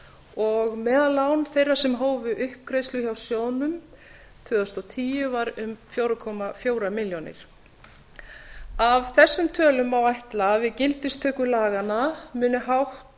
ár og meðallán þeirra sem hófu uppgreiðslu hjá sjóðnum tvö þúsund og tíu um fjóra komma fjórum milljónum króna af þessum tölum má ætla að við gildistöku laganna muni hátt